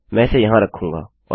मैं इसे यहाँ रखूँगी